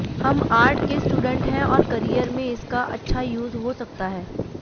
हम आर्ट के स्टूडेंट हैं और करियर में इसका अच्छा यूज हो सकता है